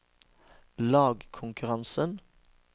lagkonkurransen